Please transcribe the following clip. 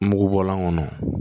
Mugubɔlan kɔnɔ